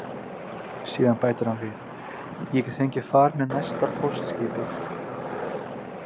Síðan bætir hann við: Ég get fengið far með næsta póstskipi.